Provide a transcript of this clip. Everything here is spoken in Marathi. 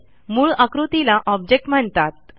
मूळ आकृतीला ऑब्जेक्ट म्हणतात